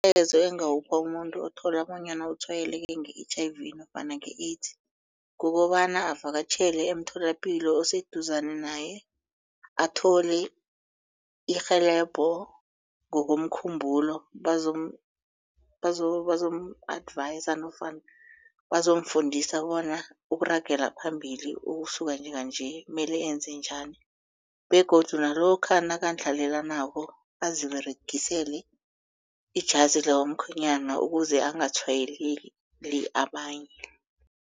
Umlayezo engawupha umuntu othola bonyana utshwayeleke nge-H_I_V nofana nge-AIDS kukobana avakatjhele emtholapilo oseduzane naye athole irhelebho ngokomkhumbulo bazomu-advise nofana bazomfundisa bona ukuragela phambili ukusuka njenganje mele enze njani begodu nalokha nakandlalelanako aziberegisele ijazi lomkhwenyana ukuze angatshwayeli abanye.